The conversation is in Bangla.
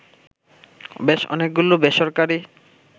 বেশ অনেকগুলো বেসরকারী